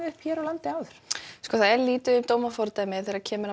upp hér á landi það er lítið um dómafordæmi þegar kemur að